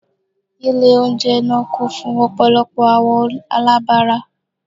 Ile ounjẹ naa kun fun ọpọlọpọ awọn alabara